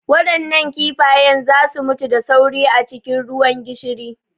Waɗannan kifayen za su mutu da sauri a cikin ruwan gishiri.